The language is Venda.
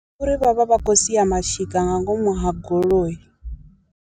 Ngauri vha vha vha khou sia mashika nga ngomu ha goloi.